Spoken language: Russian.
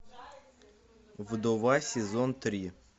вдова сезон три